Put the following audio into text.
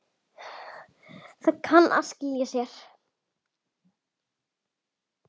Það kann að skila sér.